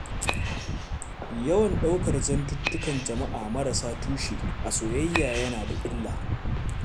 Yawan ɗaukar zantuttukan jama'a marasa tushe, a soyayya yana da illa.